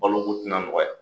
Balo ko tɛna nɔgɔya